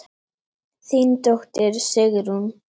Þín dóttir, Sigrún.